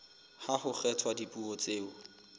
ha ho kgethwa dipuo tseo